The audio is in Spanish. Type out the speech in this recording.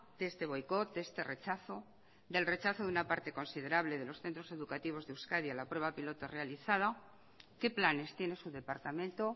de este boicot de este rechazo del rechazo de una parte considerable de los centros educativos de euskadi a la prueba piloto realizada qué planes tiene su departamento